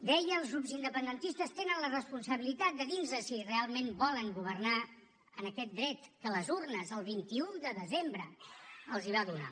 deia els grups independentistes tenen la responsabilitat de dir nos si realment volen governar amb aquest dret que les urnes el vint un de desembre els va donar